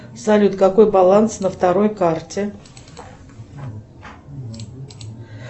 салют какой баланс на второй карте